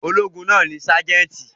Ológun náà ni sájẹ́ńtì.